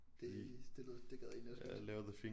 Det det lyder det gad jeg egentlig også godt